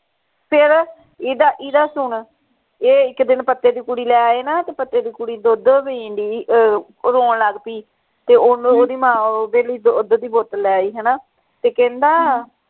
ਫੇਰ ਇਦਾ ਇਦਾ ਸੁਨ ਇਹ ਇਕ ਦਿਨ ਪੱਤੇ ਦੀ ਕੁੜੀ ਲੈ ਆਏ ਨਾ ਤੇ ਪੱਤੇ ਦੀ ਕੁੜੀ ਦੁੱਧ ਪੀਣ ਢਈ ਅਹ ਰੋਣ ਲੱਗ ਪਈ ਤੇ ਉਹ ਓਹਦੀ ਮਾਂ ਓਹਦੇ ਲਈ ਦੁੱਧ ਦੀ ਬੋਤਲ ਲੈ ਆਈ ਹਣਾ ਤੇ ਕਹਿੰਦਾ